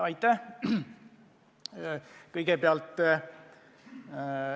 Aitäh!